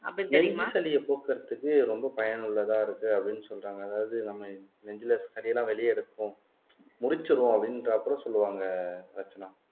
நெஞ்சு சளி போக்குறதுக்கு ரொம்ப பயனுள்ளதா இருக்கு அப்படீன்னு சொல்றாங்க அதாவது நம்ம நெஞ்சுல சளியெல்லாம் வெளிய எடுக்கும் முடிச்சிருவோம் அப்படின்ற சொல்லுவாங்க ரட்சனா